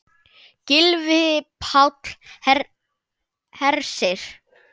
Gylfi Páll Hersir.